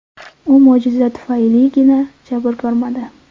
U mo‘jiza tufayligina jabr ko‘rmadi.